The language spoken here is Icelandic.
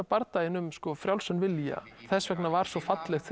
bardaginn um frjálsan vilja þess vegna var svo fallegt